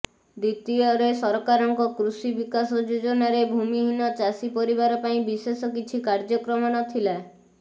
ଦ୍ବିତୀୟରେ ସରକାରଙ୍କ କୃଷି ବିକାଶ େଯାଜନାରେ ଭୂମିହୀନ ଚାଷୀ ପରିବାର ପାଇଁ ବିଶେଷ କିଛି କାର୍ଯ୍ୟକ୍ରମ ନଥିଲା